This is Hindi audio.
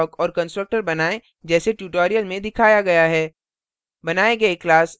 एक nonstatic block और constructor बनाएँ जैसे tutorial में दिखाया गया है